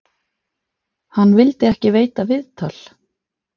Hann vildi ekki veita viðtal.